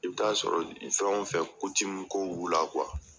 I bɛ t'a sɔrɔ fɛn o fɛn ko b'u la